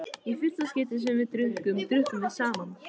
Í fyrsta skipti sem við drukkum, drukkum við saman.